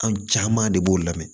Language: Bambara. An caman de b'o lamɛn